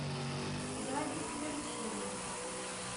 запись перчини